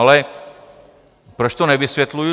Ale proč to nevysvětluju?